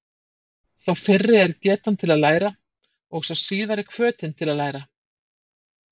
Sá fyrri er getan til að læra og sá síðari hvötin til að læra.